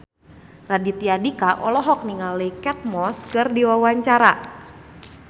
Raditya Dika olohok ningali Kate Moss keur diwawancara